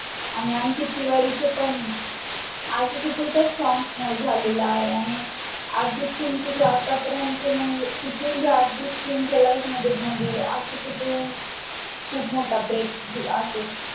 आणि अंकित तिवारी चे पण आशिकी two चा song झालेला आहे त्यांनी अर्जित सिंगचे जो आतापर्यंत तिथून अर्जित सिंगच्या life मध्ये आशिकी टू खूप मोठा break